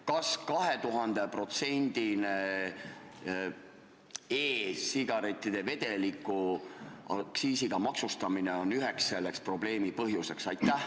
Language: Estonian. Kas 2000%-ne e-sigarettide vedeliku aktsiisiga maksustamine on üks neid probleeme?